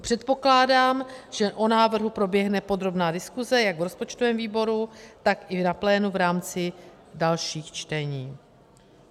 Předpokládám, že o návrhu proběhne podrobná diskuse jak v rozpočtovém výboru, tak i na plénu v rámci dalších čtení.